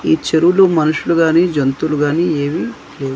ఈ చెరువులో మనుషులు గాని జంతువులు గాని ఏవి లేవు.